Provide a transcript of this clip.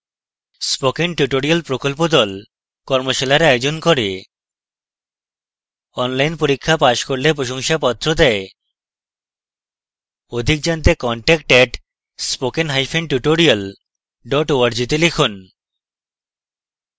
spoken tutorial প্রকল্প the কর্মশালার আয়োজন করে অনলাইন পরীক্ষা পাস করলে প্রশংসাপত্র দেয়